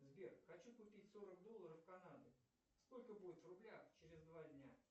сбер хочу купить сорок долларов канады сколько будет в рублях через два дня